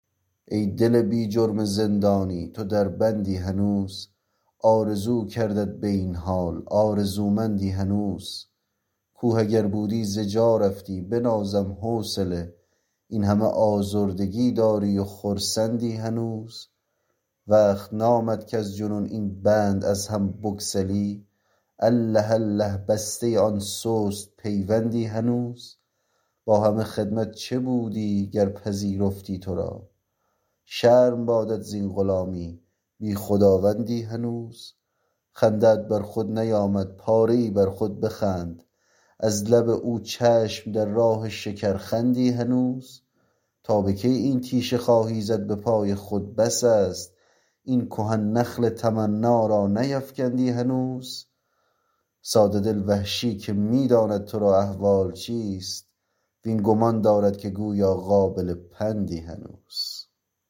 ای دل بی جرم زندانی تو در بندی هنوز آرزو کردت به این حال آرزومندی هنوز کوه اگر بودی ز جا رفتی بنازم حوصله اینهمه آزردگی داری و خرسندی هنوز وقت نامد کز جنون این بند از هم بگسلی اله اله بسته آن سست پیوندی هنوز با همه خدمت چه بودی گر پذیرفتی ترا شرم بادت زین غلامی بی خداوندی هنوز خنده ات بر خود نیامد پاره ای بر خود بخند از لب او چشم در راه شکرخندی هنوز تا به کی این تیشه خواهی زد به پای خود بس است این کهن نخل تمنا را نیفکندی هنوز ساده دل وحشی که می داند ترا احوال چیست وین گمان دارد که گویا قابل پندی هنوز